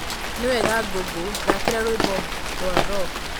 Nĩ wega Google thaakĩra rwĩmbo rwa rock